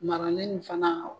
Maralen in fana la o.